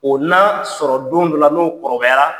O n'a sɔrɔ don dɔ la, n'o kɔrɔbayara.